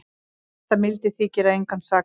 Mesta mildi þykir að engan sakaði